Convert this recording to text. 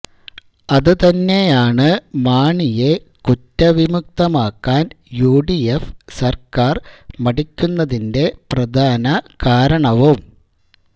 അത് തന്നെയാണ് മാണിയെ കുറ്റ വിമുക്തനാക്കാൻ യുഡിഎഫ് സർക്കാർ മടിക്കുന്നതിന്റെ പ്രധാന കാരണവും